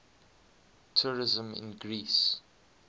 tourism in greece